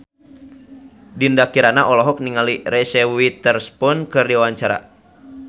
Dinda Kirana olohok ningali Reese Witherspoon keur diwawancara